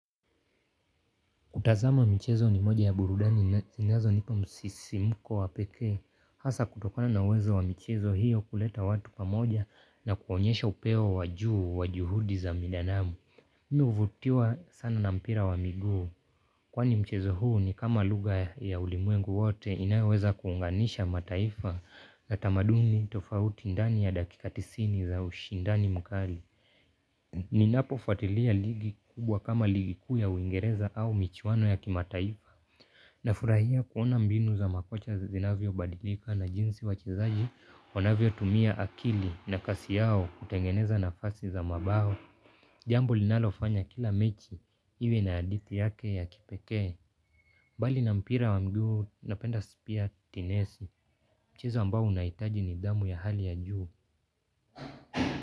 Kutazama michezo ni moja ya burudani zinazonipa msisimko wa pekee. Hasa kutokona na uwezo wa michezo hiyo kuleta watu pamoja na kuonyesha upeo wajuu wa juhudi za binadanamu. Mimi huvutiwa sana na mpira wa miguu. Kwani mchezo huu ni kama lugha ya ulimwengu wote inayoweza kuunganisha mataifa na tamaduni tofauti ndani ya dakika tisini za ushindani mkali. Ninapofuatilia ligi kubwa kama ligi kuu ya Uingereza au michuano ya kimataifa na furahia kuona mbinu za makocha zinavyo badilika na jinsi wachezaji wanavyo tumia akili na kasi yao kutengeneza nafasi za mabao. Jambo linalofanya kila mechi iwe na hadithi yake ya kipekee. Bali na mpira wa miguu napenda pia tenisi mchezo ambao unahitaji nidhamu ya hali ya juu.